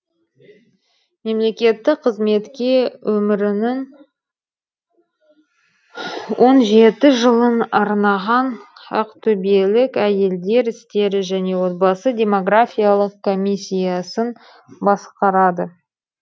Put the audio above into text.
мемлекеттік қызметке өмірінің он жеті жылын арнаған ақтөбелік әйелдер істері және отбасы демографиялық комиссиясын басқарады